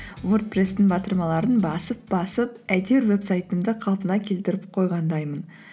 вордпресстің батырмаларын басып басып әйтеуір вебсайтымды қалпына келтіріп қойғандаймын